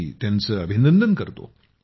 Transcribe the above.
मी त्यांचं अभिनंदन करतो